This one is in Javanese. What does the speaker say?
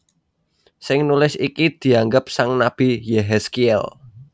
Sing nulis iki dianggep sang nabi Yéhèzkièl